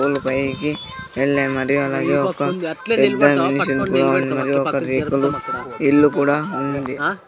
గులు పైకి యెల్లా మరి అలాగే ఒక ఎబ్బాం నీషెంటుగా ఉన్నది ఒకే రేకులు ఇల్లు కూడా ఉంది.